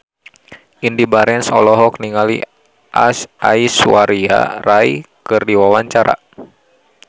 Indy Barens olohok ningali Aishwarya Rai keur diwawancara